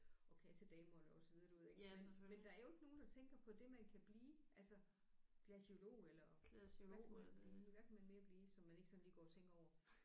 Og kassedamerne og så videre du ved ik men der er jo ikke nogen der tænker på det man kan blive altså glaciolog eller hvad kan man blive hvad kan man mere blive som man ikke sådan lige går og tænker over